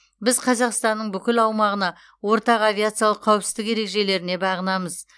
біз қазақстанның бүкіл аумағына ортақ авиациялық қауіпсіздік ережелеріне бағынамыз